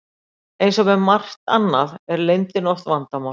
eins og með margt annað er leyndin oft vandamál